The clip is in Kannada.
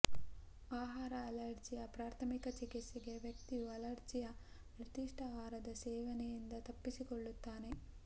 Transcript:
ಆಹಾರ ಅಲರ್ಜಿಯ ಪ್ರಾಥಮಿಕ ಚಿಕಿತ್ಸೆಗೆ ವ್ಯಕ್ತಿಯು ಅಲರ್ಜಿಯ ನಿರ್ದಿಷ್ಟ ಆಹಾರದ ಸೇವನೆಯಿಂದ ತಪ್ಪಿಸಿಕೊಳ್ಳುತ್ತಾನೆ